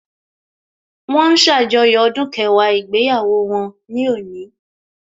Wọ́n ń ṣàjọyọ̀ ọdún kẹwàá ìgbéyàwó wọn ní òní